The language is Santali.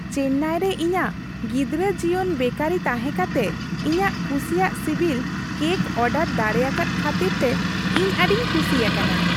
ᱪᱮᱱᱱᱟᱭ ᱨᱮ ᱤᱧᱟᱹᱜ ᱜᱤᱫᱽᱨᱟᱹ ᱡᱤᱭᱚᱱ ᱵᱮᱠᱟᱨᱤ ᱛᱟᱦᱮᱸ ᱠᱟᱛᱮ ᱤᱧᱟᱹᱜ ᱠᱩᱥᱤᱭᱟᱜ ᱥᱤᱵᱤᱞ ᱠᱮᱠ ᱚᱨᱰᱟᱨ ᱫᱟᱲᱮᱭᱟᱠᱟᱫ ᱠᱷᱟᱹᱛᱤᱨᱛᱮ ᱤᱧ ᱟᱹᱰᱤᱧ ᱠᱩᱥᱤ ᱟᱠᱟᱱᱟ ᱾